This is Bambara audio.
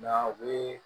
Nka u bɛ